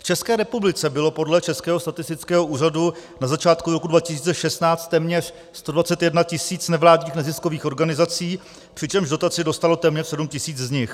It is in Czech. V České republice bylo podle Českého statistického úřadu na začátku roku 2016 téměř 121 tisíc nevládních neziskových organizací, přičemž dotaci dostalo téměř 7 tisíc z nich.